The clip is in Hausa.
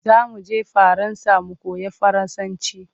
Za mu je Faransa mu koyo Faransanci.